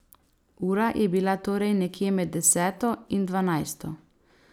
Ura je bila torej nekje med deseto in dvanajsto.